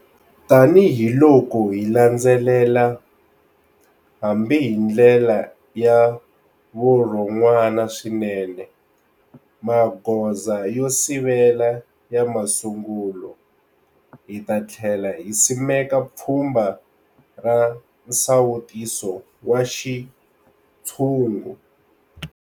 Tanihiloko hi landzelela hambi hi ndlela ya vurhonwana swinene magoza yo sivela ya masungulo, hi ta tlhela hi simeka pfhumba ra nsawutiso wa xintshungu.